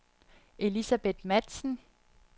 Elisabeth Matzen